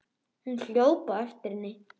Hún hljóp á eftir henni.